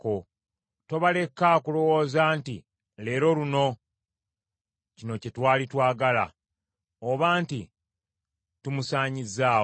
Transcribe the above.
Tobaleka kulowooza nti, “Leero luno! Kino kye twali twagala!” Oba nti, “Tumusaanyizzaawo!”